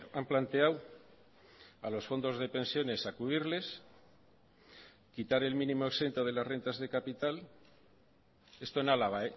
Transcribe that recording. han planteado a los fondos de pensiones sacudirles quitar el mínimo exento de las rentas de capital esto en álava